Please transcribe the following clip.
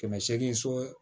Kɛmɛ seegin so